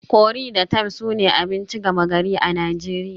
Curry da thyme sune abinci gama gari a Najeriya